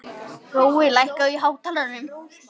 Hrói, lækkaðu í hátalaranum.